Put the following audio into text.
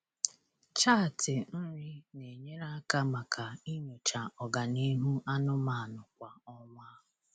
Chaatị nri na-enyere aka maka inyocha ọganihu anụmanụ kwa ọnwa.